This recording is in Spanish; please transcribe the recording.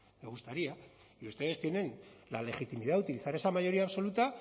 me gustaría y ustedes tienen la legitimidad de utilizar esa mayoría absoluta